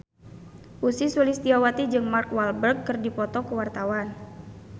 Ussy Sulistyawati jeung Mark Walberg keur dipoto ku wartawan